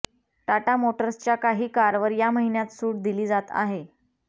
टाटा मोटर्सच्या काही कारवर या महिन्यात सूट दिली जात आहे